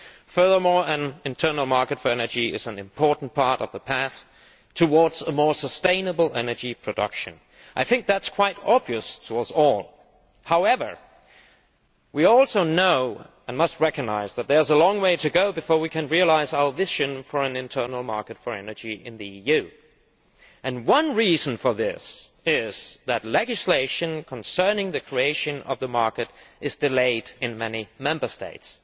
Furthermore, an internal market for energy is an important part of the path towards more sustainable energy production. That is quite obvious to us all, but we should also recognise that there is a long way to go before we can realise our vision for an internal market for energy in the EU. One reason for this is that legislation concerning the creation of the market is delayed in many Member States.